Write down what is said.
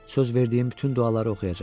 Söz verdiyim bütün duaları oxuyacam.